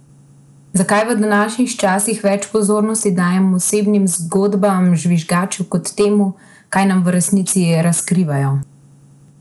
Zakaj v današnjih časih več pozornosti dajemo osebnim zgodbam žvižgačev kot temu, kaj nam v resnici razkrivajo?